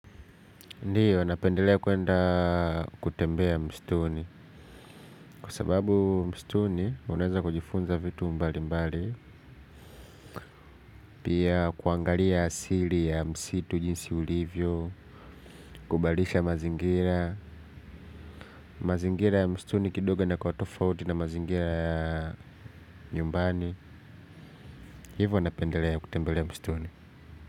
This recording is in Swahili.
Ndiyo, napendelea kwenda kutembea mstuni, kwa sababu mstuni, unaeza kujifunza vitu mbali mbali, piaa kuangalia asili ya msitu jinsi ulivyo, kubadilisha mazingira, mazingira ya mstuni kidogo yanakua tofauti na mazingira yaa nyumbani, hivyo napendelea kutembelea mstuni.